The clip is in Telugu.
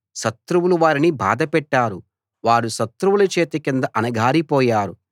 శత్రువులు వారిని బాధపెట్టారు వారు శత్రువుల చేతి కింద అణగారిపోయారు